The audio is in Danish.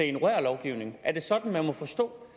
ignorerer lovgivningen er det sådan man må forstå